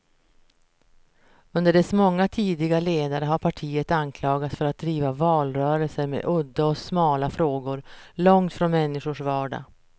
Under dess många tidigare ledare har partiet anklagats för att driva valrörelser med udda och smala frågor, långt från människors vardag.